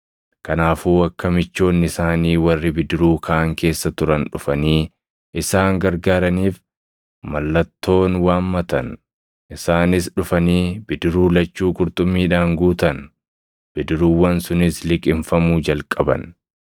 Kanaafuu akka michoonni isaanii warri bidiruu kaan keessa turan dhufanii isaan gargaaraniif mallattoon waammatan; isaanis dhufanii bidiruu lachuu qurxummiidhaan guutan; bidiruuwwan sunis liqimfamuu jalqaban.